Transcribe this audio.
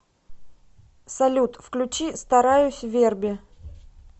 салют включи стараюсь верби